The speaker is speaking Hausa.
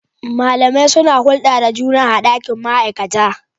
Malamai suna hulɗa da juna a ɗakin ma'aikata.